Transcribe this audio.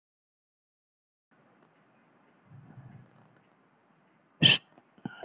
María Lilja Þrastardóttir: Stórmeistari?